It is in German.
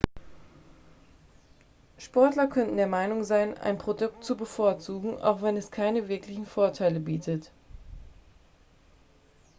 sportler können der meinung sein ein produkt zu bevorzugen auch wenn es keine wirklichen vorteile bietet